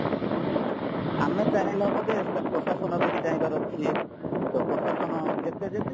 ଆମେ ଚାହିଁଲେ ହବଯେ ସେଇଟା ପ୍ରଶାସନବି ଚାହିଁବାର ଅଛି ତ ପ୍ରଶାସନ ଯେତେ ଯେତେ